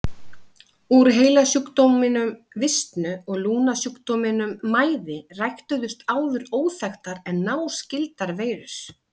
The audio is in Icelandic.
Úr heilasjúkdóminum visnu og lungnasjúkdóminum mæði ræktuðust áður óþekktar en náskyldar veirur.